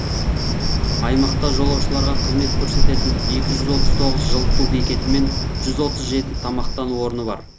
аймақта жолаушыларға қызмет көрсететін екі жүз отыз тоғыз жылыту бекеті мен жүз отыз жеті тамақтану орны бар